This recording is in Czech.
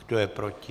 Kdo je proti?